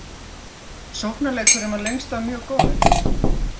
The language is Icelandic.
Sóknarleikurinn var lengst af mjög góður